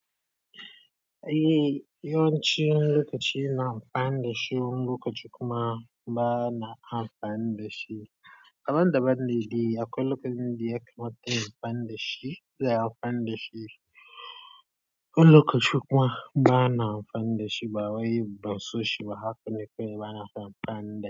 Eh, yawanci lokaci ina amfana da shi, wani lokaci kuma ba na amfana da shi. Abin da ban daɗi akwai lokutan da ya kamata in amfanar da shi ba na amfanar da shi. Akwai lokaci kuma ba na amfana da shi ba wai ban so shi ba. Haka ne kawai bana so amfani.